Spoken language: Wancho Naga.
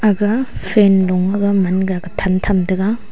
aga fan lung man ga than tham tega.